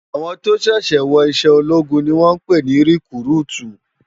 Áwòn tó ṣèṣè wò iṣè ólógún ni wòn pè ni rekúrútú